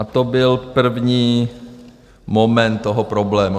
A to byl první moment toho problému.